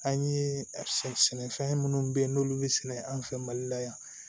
An ye sɛnɛfɛn minnu ye n'olu bɛ sɛnɛ an fɛ mali la yan